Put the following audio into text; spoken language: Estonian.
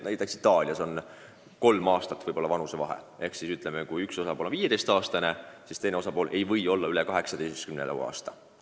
Näiteks Itaalias võib alaealiste puhul vanusevahe olla kõige rohkem kolm aastat ehk kui üks osapool on näiteks 15-aastane, siis teine osapool ei või olla üle 18 aasta vana.